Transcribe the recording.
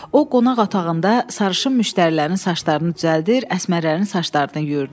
O qonaq otağında sarışın müştərilərin saçlarını düzəldir, əsmərlərin saçlarını yuyurdu.